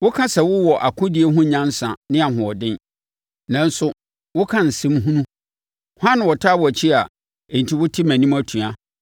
Woka sɛ wowɔ akodie ho nyansa ne nʼahoɔden, nanso woka nsɛm hunu. Hwan na ɔtaa wʼakyi a enti wote mʼanim atua?